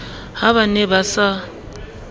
ha ba ne ba sa